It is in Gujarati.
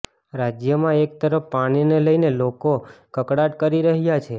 રાજ્યમાં એક તરફ પાણીને લઈને લોકો કકળાટ કરી રહ્યા છે